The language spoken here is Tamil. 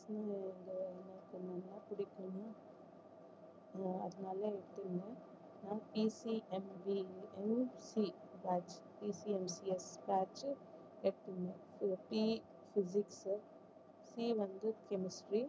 அதனால எடுத்திருந்தேன் PPMGEMC batch PPMCM batch P physics C வந்து chemistry